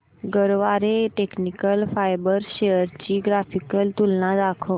Garware technical fibres shares ची graphical तुलना दाखव